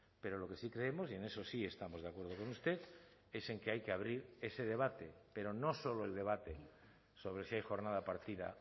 pero lo que sí creemos y en eso sí estamos de acuerdo con usted es en que hay que abrir ese debate pero no solo el debate sobre si hay jornada partida